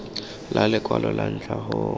la lekwalo la ntlha go